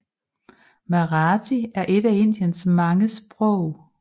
Marathi er et af Indiens mange sprog